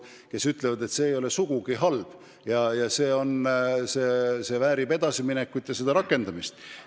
Nad ütlevad, et see idee ei ole sugugi halb, see väärib edasiminekut ja rakendamist.